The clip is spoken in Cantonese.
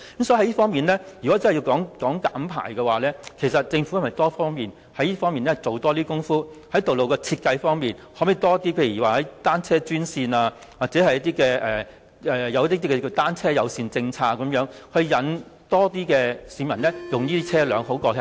所以，若要減排，政府應在多方面下工夫，包括在道路設計上研究可否增設單車專線或推行單車友善政策，吸引更多市民使用單車代步。